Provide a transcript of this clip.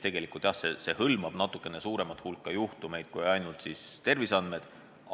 Tegelikult see hõlmab natukene suuremat hulka juhtumeid, mitte ainult tervisega seotud kriise.